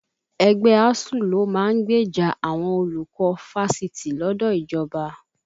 Ẹgbẹ́ ASUU ló máa ń gbèjà àwọn olùkọ́ Fáṣitì lọ́dọ̀ ìjọba